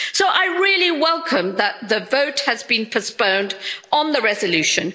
So I really welcome that the vote has been postponed on the resolution.